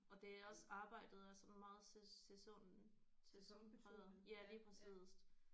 Og det er også arbejdet er sådan meget sæson sæsonpræget ja lige præcist